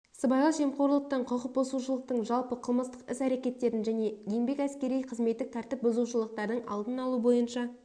сыбайлас жемқорлықтың құқық бұзушылықтың жалпы қылмыстық іс-әрекеттердің және еңбек әскери қызметтік тәртіп бұзушылықтардың алдын алу бойынша